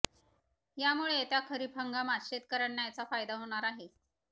यामुळे येत्या खरीप हंगामात शेतकर्यांना याचा फायदा होणार आहे